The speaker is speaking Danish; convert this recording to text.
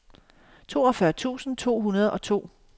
toogfyrre tusind to hundrede og to